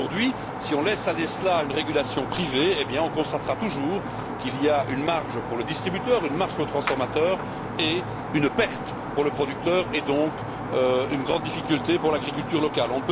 Aujourd'hui, si on laisse aller cela à une régulation privée, on constatera toujours qu'il y a une marge pour le distributeur, une marge pour le transformateur et une perte pour le producteur, et donc une grande difficulté pour l'agriculture locale.